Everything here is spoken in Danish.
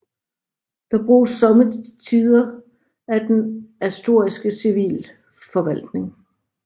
Det bruges somme tider af den asturiske civilforvaltning